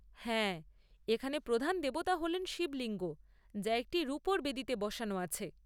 হ্যাঁ, এখানে প্রধান দেবতা হলেন শিবলিঙ্গ যা একটি রুপোর বেদিতে বসানো আছে।